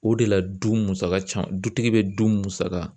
O de la du musaka ca dutigi bɛ du musaka